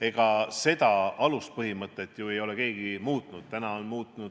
Ega seda aluspõhimõtet ei ole ju keegi muutnud.